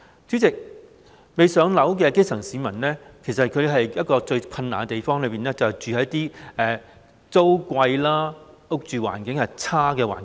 主席，未"上樓"的基層市民面對最困難的是租金昂貴、住屋環境差劣。